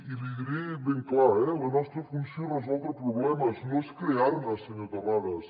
i l’hi diré ben clar la nostra funció és resoldre problemes no és crear ne senyor terrades